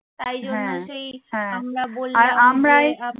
তাই জন্য সেই আমরা বললাম যে আহ